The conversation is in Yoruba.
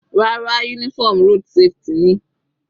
Rárá, uniform road safety ni.